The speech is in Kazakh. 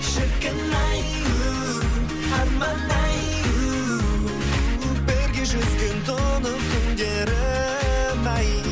шіркін ай у арман ай у бірге жүзген тұнық көлдерім ай